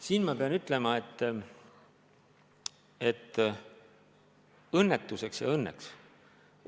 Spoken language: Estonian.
Siin ma pean ütlema, et õnnetuseks ja õnneks.